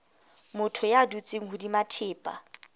motho ya dutseng hodima thepa